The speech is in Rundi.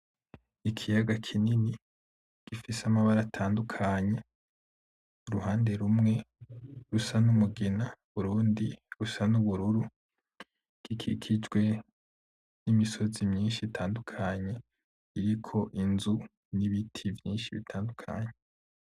Ikiyaga kinini gifise amabara atandukanye uruhande rumwe rusa n'Umugina, urundi rusa n'Ubururu gikikijwe n'Imisozi myinshi itandukanye iriko Inzu, n'Ibiti vyinshi bitandukanye.